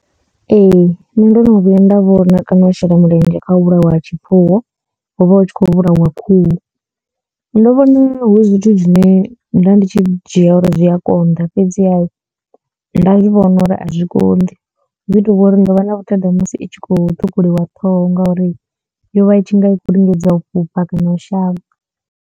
Ee nṋe ndo no vhuya nda vhona kana u shela mulenzhe kha u vhulawa ha tshifuwo hu vha hu tshi khou vhulawa khuhu ndo vhona hu zwithu zwine nda ndi tshi dzhia uri zwi a konḓa fhedziha nda zwivhona uri a zwi konḓi hu ḓi tou vha uri ndo vha na vhuthada musi i tshi khou ṱhukhuliwa ṱhoho ngauri yo vha itshi nga i khou lingedza u fhufha kana u shavha.